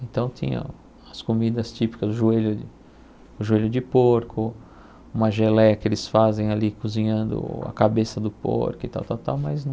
Então tinha as comidas típicas, o joelho o joelho de porco, uma geleia que eles fazem ali cozinhando a cabeça do porco e tal, tal, tal, mas não...